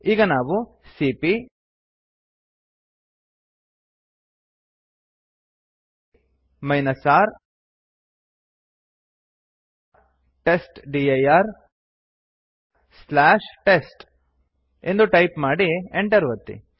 ಈಗ ನಾವು ಸಿಪಿಯ R ಟೆಸ್ಟ್ಡಿರ್ ಟೆಸ್ಟ್ ಎಂದು ಟೈಪ್ ಮಾಡಿ enter ಒತ್ತಿ